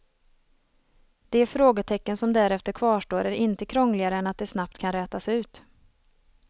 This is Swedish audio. De frågetecken som därefter kvarstår är inte krångligare än att de snabbt kan rätas ut.